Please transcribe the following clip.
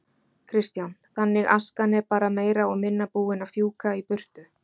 Kristján: Þannig askan er bara meira og minna búin að fjúka í burtu?